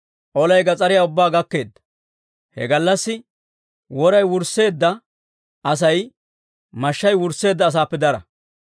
Olay gas'ariyaa ubbaa gakkeedda; he gallassi woray wursseedda Asay mashshay wursseedda asaappe dara.